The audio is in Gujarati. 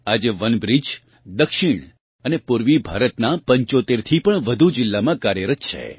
આજે વનબ્રિજ દક્ષિણ અને પૂર્વીભારતનાં 75થી પણ વધુ જિલ્લામાં કાર્યરત છે